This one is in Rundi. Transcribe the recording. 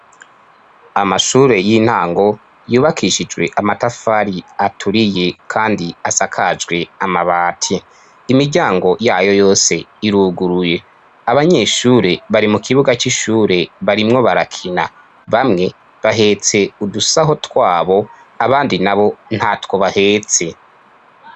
amashure y'intango yubakishijwe amatafari aturiye kandi asakajwe amabati imiryango yayo yose iruguruye abanyeshure bari mu kibuga cy'ishure barimwo barakina bamwe bahetse udusaho twabo abandi na bo ntatwo bahetse